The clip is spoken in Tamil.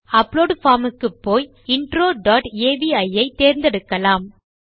அப்லோட் பார்ம் க்குப்போய் இன்ட்ரோ டாட் அவி ஐ தேர்ந்தெடுக்கலாம்